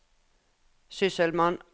sysselmann